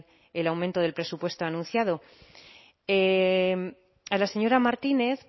el aumento del presupuesto anunciado a la señora martínez